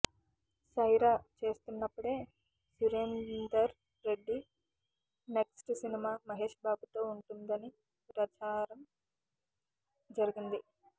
సైరా చేస్తున్నప్పుడే Surender Reddy next cinema Mahesh Babu తో ఉంటుందని రచారం జరిగింది